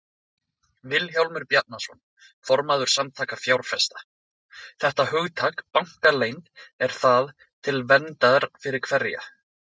Vilhjálmur Bjarnason, formaður Samtaka fjárfesta: Þetta hugtak, bankaleynd, er það til verndar fyrir hverja?